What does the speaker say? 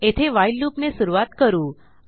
येथे व्हाईल loopने सुरूवात करू